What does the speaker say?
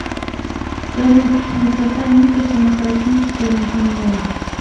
салют высота ника самофракийская над землей